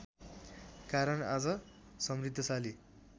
कारण आज समृद्धशाली